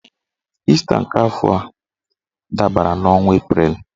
Ịsta nke afọ a dabara n'ọnwa Eprel